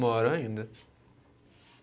Moro ainda.